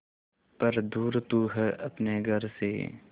पर दूर तू है अपने घर से